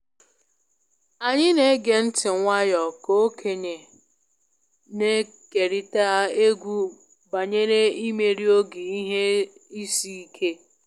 Anyị na-ege ntị nwayọ ka okenye na-ekerịta egwu banyere imeri oge ihe isi ike